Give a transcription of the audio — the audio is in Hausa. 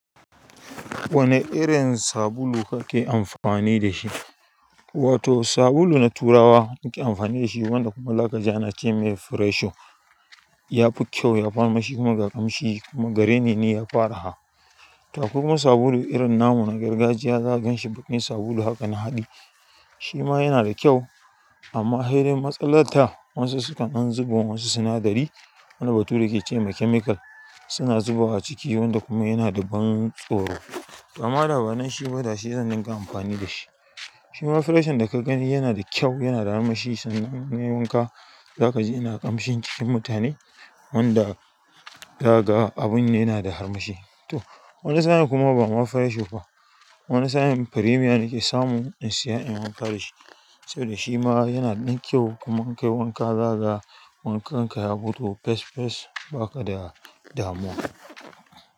Wane irin sabulu kake amfani da shi? Wato sabulu na turawa nake amfani da shi, wanda kuma zaka ji ana ce mai Fresho. Ya fi kyau, yafi armashi kuma ga ƙamshi kuma gare ni ne yafi araha. To kuma sabulu irin namun gargajiya za ka ganshi bakin sabulu hakan haɗe. Shi ma yana da kyau amma dai matsalar ta wasu sukan zubo wasu sinadari wani batu da yake ce ma chemical suna zuba wa ciki wanda kuma yana da ban tsoro. To amma ba da banshi ba dashi zan dinga amfani da shi. Shima Freshon da ka gani yana da kyau, yana da armashi sannan in ka wanka za ka ji yana ƙamshin cikin mutane wanda daga abun yana da armashi. Toh wani sa'in kuma ba ma fresho ba, wani sa'a premium nake samu in saya in wanka da shi saboda shi ma yana ɗin kyau kuma in kai wanka zaga wankan ka ya gudu fes fes ba ka da damuwa.